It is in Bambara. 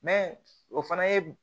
o fana ye